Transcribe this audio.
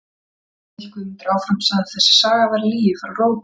Bjarni, hélt Guðmundur áfram, sagði að þessi saga væri lygi frá rótum.